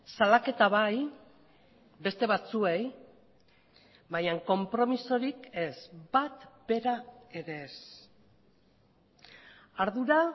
salaketa bai beste batzuei baina konpromisorik ez bat bera ere ez ardura